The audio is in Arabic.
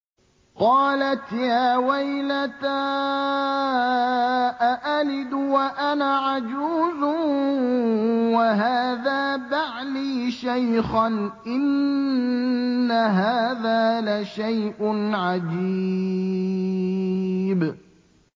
قَالَتْ يَا وَيْلَتَىٰ أَأَلِدُ وَأَنَا عَجُوزٌ وَهَٰذَا بَعْلِي شَيْخًا ۖ إِنَّ هَٰذَا لَشَيْءٌ عَجِيبٌ